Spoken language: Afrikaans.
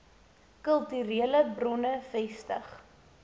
kulturele bronne vestig